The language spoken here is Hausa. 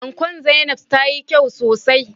Ankon Zainabs tayi kyau sosai.